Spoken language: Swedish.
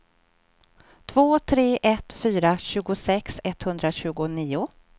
två tre ett fyra tjugosex etthundratjugonio